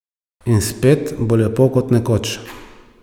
In spet bo lepo kot nekoč.